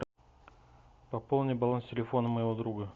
пополни баланс телефона моего друга